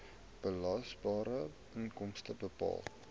belasbare inkomste bepaal